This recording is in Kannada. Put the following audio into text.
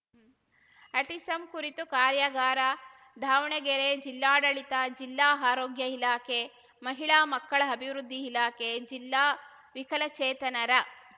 ಆಟಿಸಮ್‌ ಕುರಿತು ಕಾರ್ಯಾಗಾರ ದಾವಣಗೆರೆ ಜಿಲ್ಲಾಡಳಿತ ಜಿಲ್ಲಾ ಆರೋಗ್ಯ ಇಲಾಖೆ ಮಹಿಳಾ ಮಕ್ಕಳ ಅಭಿವೃದ್ಧಿ ಇಲಾಖೆ ಜಿಲ್ಲಾ ವಿಕಲಚೇತನರ